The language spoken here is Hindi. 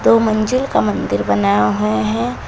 और वो मंजिल का मंदिर बना है।